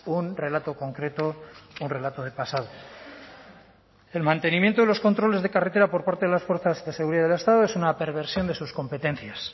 un relato concreto un relato de pasado el mantenimiento de los controles de carretera por parte de las fuerzas de seguridad del estado es una perversión de sus competencias